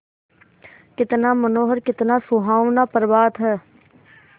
कितना मनोहर कितना सुहावना प्रभात है